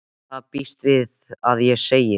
Hvað býst við því að ég segi?